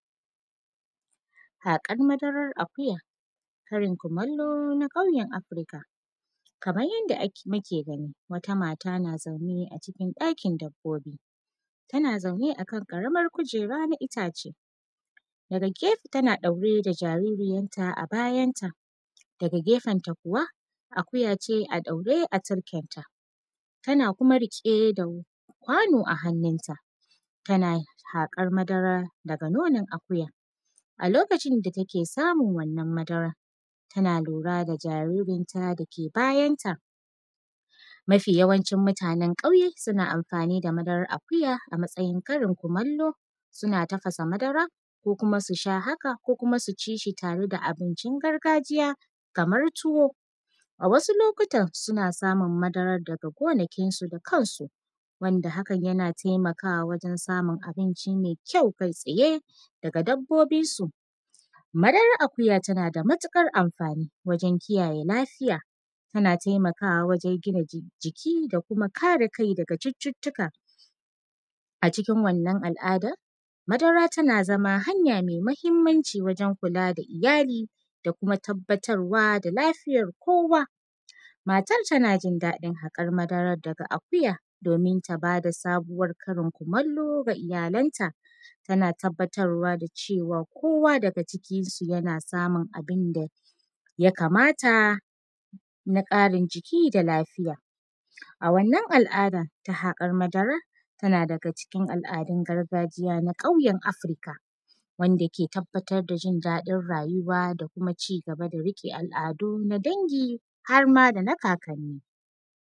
Haƙar madarar akuya, Karin kumallo na fannin Afirka. Kaman yanda ak; muke gani, wata mata na zaune a cikin ɗakin dabbobi, tana zaune a kan ƙaramar kujera na itace. Daga gefe, tana ɗaure da jaririyarta a bayanta, daga gefenta kuwa, akuya ce a ɗaure a turkenta, tana kuma riƙe da kwano a hannunta, tana haƙar madara daga nonon akuyan. A lokacin da take samun wannan madara, tana lura da jaririnta dake bayanta, mafi yawancin mutanen ƙauye, suna amfani da madarar akuya a matsayin Karin kumallo. Suna tafasa madara ko kuma su shah aka, ko kuma su ci shi tare da abincin gargajiya kamar tuwo. A wasu lokutan, suna samun madarar daga gonakinsu da kansu, wanda hakan yana temakawa wajen samun abinci me kyau, kai-tsaye daga dabbobinsu. Madarar akuya, tana da matuƙar amfani wajen kiyaye lafiya, tana temakawa wajen gina ji; jiki da kuma kare kai daga cuccutuka. A cikin wannan al’adar, madara tana zama hanya me mahimmanci wajen kula da iyali da kuma tabbatarwa da lafiyar kowa. Matar, tana jin daɗin haƙar madara daga akuya, domin ta ba da sabuwar Karin kumallo ga iyalanta, tana tabbatarwa da cewa kowa daga cikinsu yana samun abin da ya kamata na ƙarin jiki da lafiya. A wannan al’ada, ta haƙar madar, tana daga cikin al’adun gargajiya na ƙauyen Afurka, wanda ke tabbatar da jin daɗin rayuwa da kuma ci gaba da riƙe al’adu na dangi, har ma da na kakanni.